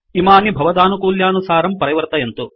इमानि भवदानुकूल्यानुसारं परिवर्तयन्तु